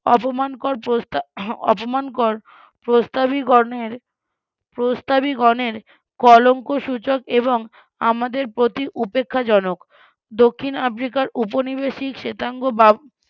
অপমানকর ~ অপমানকর প্রস্তাবিগণের প্রস্তাবিগণের কলঙ্কসুচক এবং আমাদের প্রতি উপেক্ষাজনক দক্ষিণ আফ্রিকার উপনিবেশিক শ্বেতাঙ্গ